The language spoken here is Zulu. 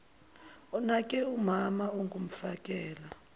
onake umama ongumfakela